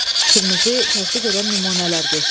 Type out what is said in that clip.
Fikrinizi təsdiq edən nümunələr göstərin.